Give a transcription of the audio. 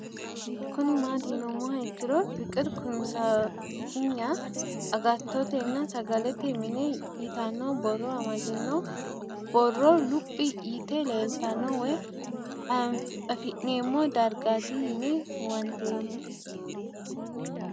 Kuni mati yinumoha ikiro fikire kunsepgna agatotena sagalete mine yitano boro amadino boro lup yite leelitano woyi afine'mo dargati yinne huwantemo